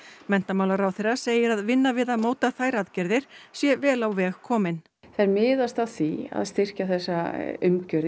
menntamálaráðherra segir að vinna við að móta þær aðgerðir sé vel á veg komin þær miðast að því að styrkja þessa umgjörð